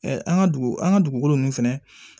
an ka dugu an ka dugukolo ninnu fɛnɛ